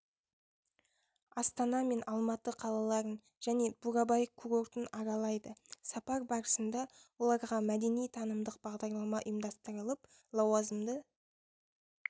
астана мен алматы қалаларын және бурабай курортын аралайды сапар барысында оларға мәдени-танымдық бағдарлама ұйымдастырылып лауазымды